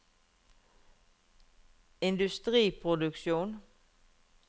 industriproduksjon